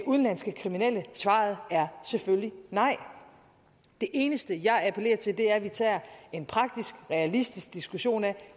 udenlandske kriminelle svaret er selvfølgelig nej det eneste jeg appellerer til er at vi tager en praktisk realistisk diskussion af